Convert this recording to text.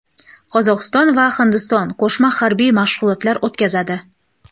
Qozog‘iston va Hindiston qo‘shma harbiy mashg‘ulotlar o‘tkazadi.